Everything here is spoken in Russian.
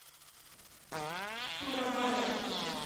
сурабая